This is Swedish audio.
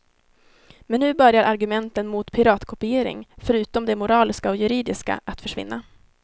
Men nu börjar argumenten mot piratkopiering, förutom de moraliska och juridiska, att försvinna.